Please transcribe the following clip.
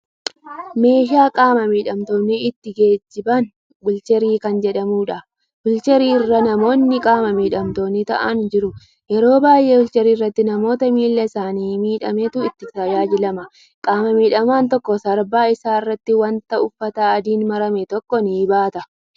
Meeshaa qaama miidhamtoonni ittiin geejjiban wiilcharii kan jedhamu. Wiilcharicha irra namoonni qaama miidhamtoonni taa'aanii jiru. Yeroo baay'ee wiilchariitti namoota miilli isaanii miidhametu itti tajaajilama. Qaama miidhamaan tokko sarbaa isaa irratti wanta uffata adiin marame tokko ni baata.